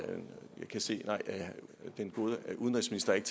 kan se at den gode udenrigsminister ikke